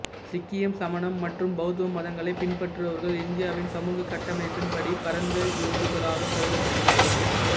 சீக்கியம் சமணம் மற்றும் பௌத்தம் மதங்களைப் பின்பற்றுபவர்கள் இந்தியாவின் சமூக கட்டமைப்பின் படி பரந்த இந்துக்களாகக் கருதப்படுகிறார்கள்